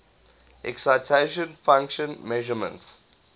excitation function measurements